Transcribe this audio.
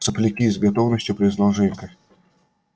сопляки с готовностью признал женька